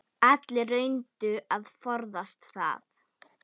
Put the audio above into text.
Allir reyndu að forðast það.